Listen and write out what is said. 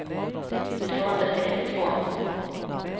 tvåhundrasextiotvå